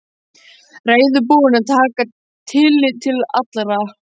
Reiðubúinn að taka tillit til allra.